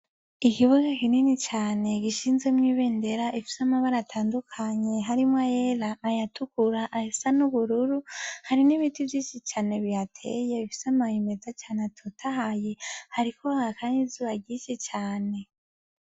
Ikibuga kinini cane gishinzwe mw'ibendera ifise amabarea atandukanye harimwo ayera, ayatukura, ayasa n'ubururu hari n'ibiti vyinshi cane bihateye bifise amababi meza cane atotahaye hariko haka n'izuba ryinshi cane.